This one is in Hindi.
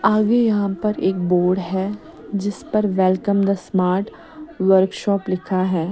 आगे यहां पर एक बोर्ड हैं जिस पर वेलकम द स्मार्ट वर्कशॉप लिखा हैं।